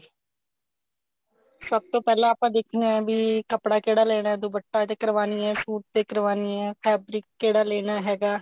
ਸਭ ਤੋਂ ਪਹਿਲਾਂ ਆਪਾਂ ਦੇਖਣਾ ਵੀ ਕੱਪੜਾ ਕਿਹੜਾ ਲੇਣਾ ਦੁਪੱਟੇ ਤੇ ਕਰਵਾਨੀ ਐ suit ਤੇ ਕਰਵਾਨੀ ਐ fabric ਕਿਹੜਾ ਲੇਣਾ ਹੈਗਾ